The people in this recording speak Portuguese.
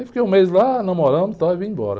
Aí fiquei um mês lá, namorando e tal, e vim embora.